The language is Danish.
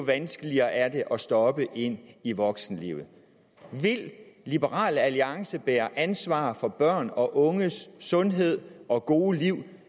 vanskeligere er det at stoppe i i voksenlivet vil liberal alliance bære ansvar for børn og unges sundhed og gode liv